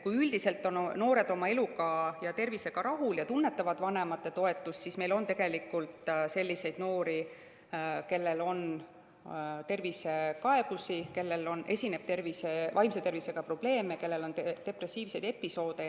Kui üldiselt on noored oma elu ja tervisega rahul ja tunnetavad vanemate toetust, siis on selliseid noori, kellel on tervisekaebusi, kellel esineb vaimse tervisega probleeme, kellel on depressiivseid episoode.